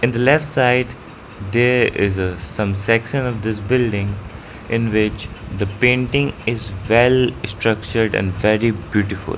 In the left side there is a some section of this building in which the painting is well structured and very beautiful.